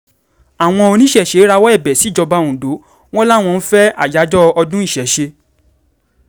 àwọn oníṣẹ̀ṣẹ̀ rawọ́ ẹ̀bẹ̀ síjọba ondo wọn làwọn ń fẹ́ àyájọ́ ọdún ìṣesé